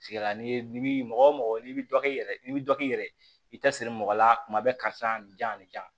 sigi la n'i bi mɔgɔ o mɔgɔ n'i bi dɔ k'i yɛrɛ ye n'i bi dɔ k'i yɛrɛ ye i tɛ siri mɔgɔ la kuma bɛɛ karisa janya